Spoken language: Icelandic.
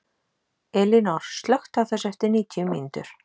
Elínór, slökktu á þessu eftir níutíu mínútur.